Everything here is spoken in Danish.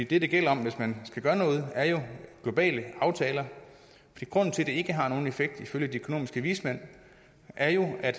det det gælder om hvis man skal gøre noget er jo globale aftaler grunden til at det ikke har nogen effekt ifølge de økonomiske vismænd er jo at